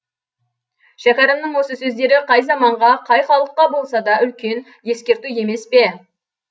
шәкәрімнің осы сөздері қай заманға қай халыққа болса да үлкен ескерту емес пе